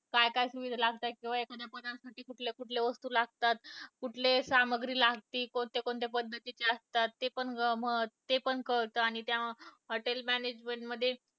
काय - काय लागतात, किंवा एका पदार्थाला कुठल्या कुठल्या वस्तू लागतात, कुठले सामुग्री लागती, कोणत्या - कोणत्या पद्धतीचे असतात, ते पण मग ते पण कळतं आणि त्या hotel management मध्ये